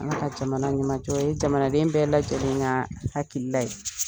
Ala ka jamana ɲamajɔ . O ye jamanaden bɛɛ lajɛlen ka hakilila ye.